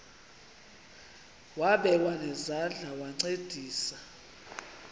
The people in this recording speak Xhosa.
wabekwa nezandls wancedisa